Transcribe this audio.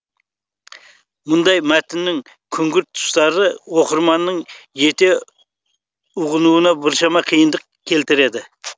мұндай мәтіннің күңгірт тұстары оқырманның жете ұғынуына біршама киындық келтіреді